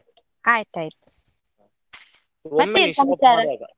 ಆಯ್ತ್ ಆಯ್ತು ಮತ್ತೇನ್.